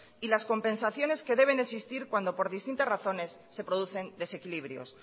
y las compensaciones que deben existir cuando por distintas razones se producen desequilibrios